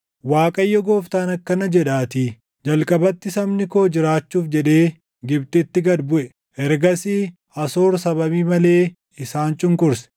Waaqayyo Gooftaan akkana jedhaatii: “Jalqabatti sabni koo jiraachuuf jedhee Gibxitti gad buʼe; ergasii Asoor sababii malee isaan cunqurse.